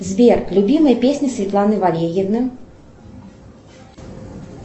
сбер любимые песни светланы валерьевны